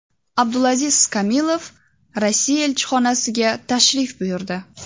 Abdulaziz Kamilov Rossiya elchixonasiga tashrif buyurdi.